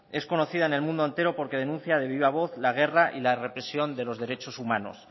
es conocida en el mundo entero porque denuncia de viva voz la guerra y la represión de los derechos humanos